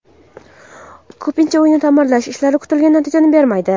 Ko‘pincha uyni ta’mirlash ishlari kutilgan natijani bermaydi.